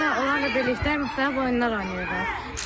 Həmçinin onlarla birlikdə müxtəlif oyunlar oynayırdıq.